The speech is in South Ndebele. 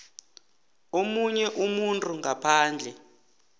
omunye umuntu ngaphandle